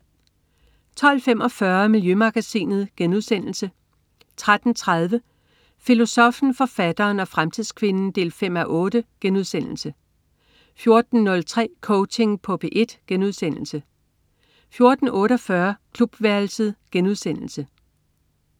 12.45 Miljømagasinet* 13.30 Filosoffen, forfatteren og fremtidskvinden 5:8* 14.03 Coaching på P1* 14.48 Klubværelset*